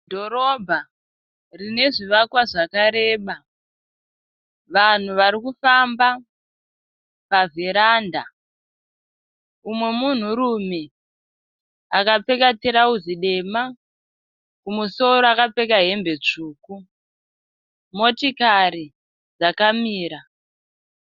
Dhorobha rine zvivakwa zvakareba. Vanhu vari kufamba pa vheranda, múmwe munhu rume akapfeka tirauzi dema kumusoro akapfeka hembe tsvuku. Motokari dzakamira.